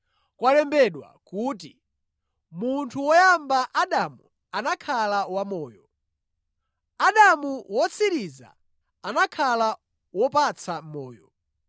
Kwalembedwa kuti, “Munthu woyamba Adamu anakhala wamoyo,” Adamu wotsiriza anakhala wopatsa moyo.